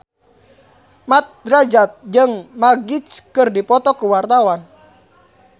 Mat Drajat jeung Magic keur dipoto ku wartawan